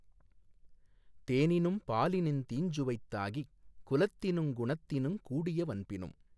தேனினும் பாலினுந் தீஞ்சுவைத் தாகிக் குலத்தினுங் குணத்தினுங் கூடிய வன்பினும்